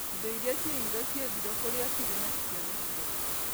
Indo iria ciairwo ciethirwo kũrĩa cirĩ no citionekire